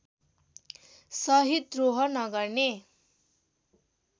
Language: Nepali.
सहित द्रोह नगर्ने